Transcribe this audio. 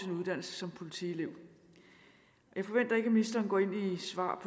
uddannelse som politielev jeg forventer ikke at ministeren går ind og svarer